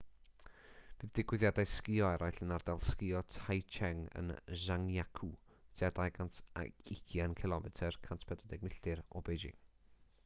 bydd digwyddiadau sgïo eraill yn ardal sgïo taizicheng yn zhangjiakou tua 220 cilomedr 140 milltir o beijing